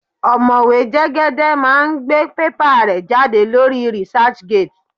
Ọ̀mọ̀wé Jẹ́gẹ́dẹ́ máa gbé pépà rẹ̀ jáde lórí researchgate.